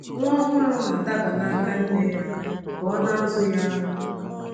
Nwa ọhụrụ na-adaba n’aka nne ya ka ọ na-azụ ya ara.